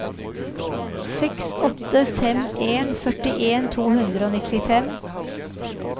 seks åtte fem en førtien to hundre og nittifem